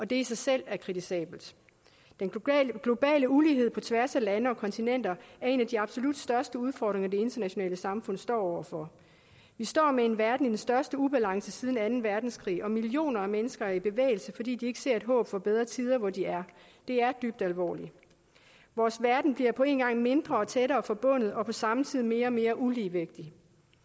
det er i sig selv kritisabelt den globale ulighed på tværs af lande og kontinenter er en af de absolut største udfordringer det internationale samfund står over for vi står med en verden i den største ubalance siden anden verdenskrig og millioner af mennesker er i bevægelse fordi de ikke ser et håb for bedre tider hvor de er det er dybt alvorligt vores verden bliver på en gang mindre og tættere forbundet og på samme tid mere og mere uligevægtig